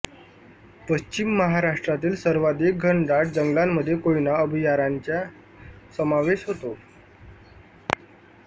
पश्चिम महाराष्ट्रातील सर्वाधिक घनदाट जंगलांमध्ये कोयना अभयारण्याचा समावेश होतो